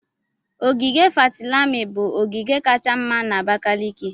ogige Fatilami bụ ogige kacha mma na Abakaliki.